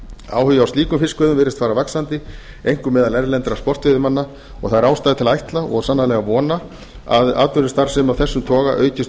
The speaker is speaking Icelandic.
áhugi á slíkum fiskveiðum virðist fara vaxandi einkum meðal erlendra sportveiðimanna og það er ástæða til að ætla og sannarlega vona að atvinnustarfsemi af þessum toga aukist